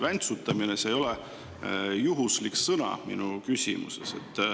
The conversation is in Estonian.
Väntsutamine ei ole juhuslik sõna minu küsimuses.